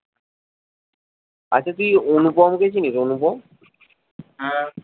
আচ্ছা তুই অনুপমকে চিনিস অনুপম হ্যাঁ